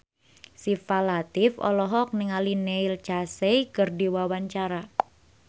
Syifa Latief olohok ningali Neil Casey keur diwawancara